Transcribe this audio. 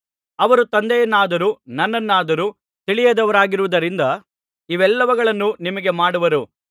ಅವರು ತಂದೆಯನ್ನಾದರೂ ನನ್ನನ್ನಾದರೂ ತಿಳಿಯದವರಾಗಿರುವುದರಿಂದ ಇವೆಲ್ಲವುಗಳನ್ನು ನಿಮಗೆ ಮಾಡುವರು